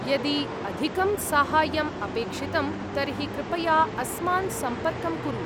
यदि अधिकं साहाय्यम् अपेक्षितं, तर्हि कृपया अस्मान् सम्पर्कं कुरु।